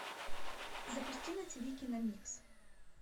запусти на ти ви киномикс